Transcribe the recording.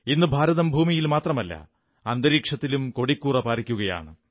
ഇന്ന് ഭാരതം ഭൂമിയിൽ മാത്രമല്ല അന്തരീക്ഷത്തിലും കൊടിക്കൂറ പാറിക്കയാണ്